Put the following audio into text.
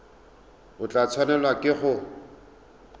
o tla tshwanelwa ke go